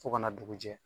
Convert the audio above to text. Fo ka na dugu jɛ